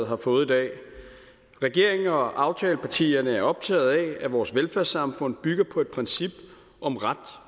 har fået i dag regeringen og aftalepartierne er optaget af at vores velfærdssamfund bygger på et princip om ret